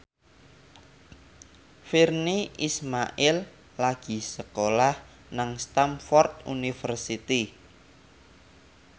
Virnie Ismail lagi sekolah nang Stamford University